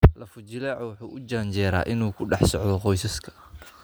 Lafo-jileecu wuxuu u janjeeraa inuu ku dhex socdo qoysaska.